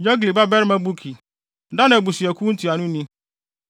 Yogli babarima Buki, Dan abusuakuw ntuanoni;